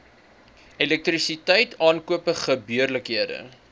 elektrisiteit aankope gebeurlikhede